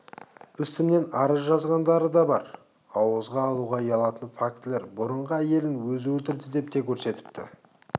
үстімнен арыз жазғандары да бар ауызға алуға ұялатын фактілер бұрынғы әйелін өзі өлтірді деп те көрсетіпті